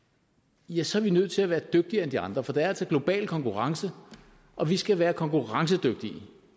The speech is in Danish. ja så er vi nødt til at være dygtigere end de andre for der er altså global konkurrence og vi skal være konkurrencedygtige